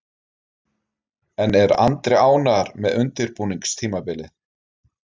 En er Andri ánægður með undirbúningstímabilið?